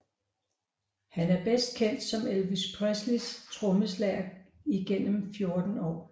Han er bedst kendt som Elvis Presleys trommeslager igennem 14 år